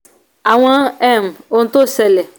àwọn um ohun tó ṣẹlẹ̀